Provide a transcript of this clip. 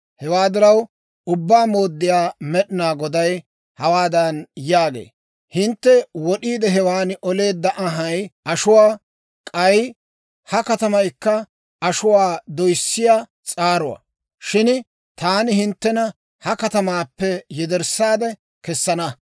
« ‹Hewaa diraw, Ubbaa Mooddiyaa Med'inaa Goday hawaadan yaagee; «Hintte wod'iide hewan oleedda anhay ashuwaa; k'ay ha katamaykka ashuwaa doyssiyaa s'aaruwaa; shin taani hinttena ha katamaappe yederssaade kessana.